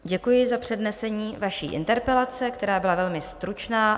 Děkuji za přednesení vaší interpelace, která byla velmi stručná.